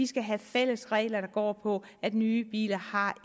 skal have fælles regler der går på at nye biler har